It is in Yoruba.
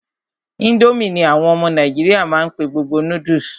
Ińdómì ní àwọn ọmọ nàìjíríà má n pé gbogbo noodles.